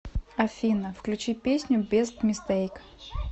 афина включи песню бест мистейк